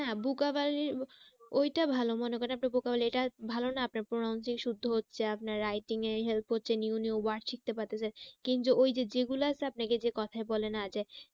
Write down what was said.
vocabulary ওইটা ভালো মনে করেন আপনি vocabulary টা ভালো না আপনার pronouncing শুদ্ধ হচ্ছে আপনার writing এ help হচ্ছে new new word শিখতে পেতেছেন। কিন্তু ওই যে যেগুলো আছে আপনাকে যে কথায় বলে না যে